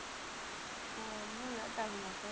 ஓ இன்னும் late ஆகுமா அக்கா